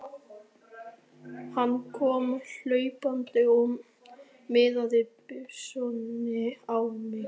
Hann kom hlaupandi og miðaði byssunni á mig.